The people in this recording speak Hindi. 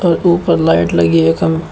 और ऊपर लाइट लगी है। खम --